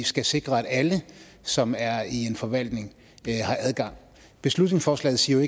skal sikre at alle som er i en forvaltning har adgang beslutningsforslaget siger